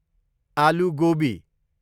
आलु गोबी